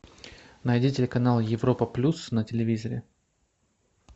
найди телеканал европа плюс на телевизоре